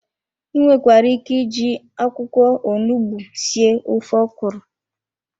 I nwekwara ike iji akwụkwọ onugbu sie ofe ọkwụrụ.